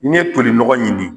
I ye tolinɔgɔ ɲini